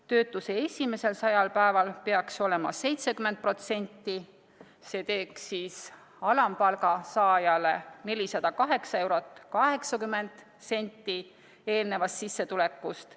Töötuse esimesel 100 päeval peaks see olema 70%, see teeks alampalga saajale 408 eurot 80 senti eelnevast sissetulekust.